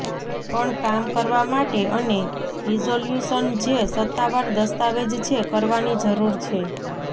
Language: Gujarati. પણ કામ કરવા માટે અને રીઝોલ્યુશન જે સત્તાવાર દસ્તાવેજ છે કરવાની જરૂર છે